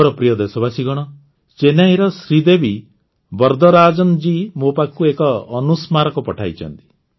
ମୋର ପ୍ରିୟ ଦେଶବାସୀଗଣ ଚେନ୍ନଇର ଶ୍ରୀଦେବୀ ବର୍ଦରାଜନ୍ ଜୀ ମୋ ପାଖକୁ ଏକ ଅନୁସ୍ମାରକ ପଠାଇଛନ୍ତି